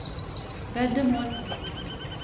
veddemål